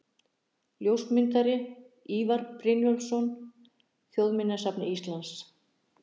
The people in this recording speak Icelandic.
Ljósmyndari: Ívar Brynjólfsson, Þjóðminjasafni Íslands.